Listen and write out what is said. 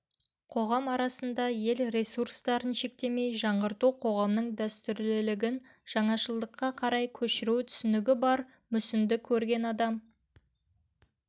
қоғам арасында ел ресурстарын шектемей жаңғырту қоғамның дәстүрлілігін жаңашылдыққа қарай көшіру түсінігі бар мүсінді көрген адам